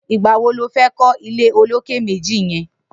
Nigbà wó ló fè kọ ilé ólóké méji yèn